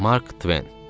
Mark Tven.